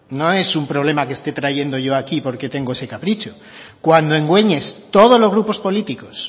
no es un problema que esté trayendo yo aquí porque tengo ese capricho cuando en gueñes todos los grupos políticos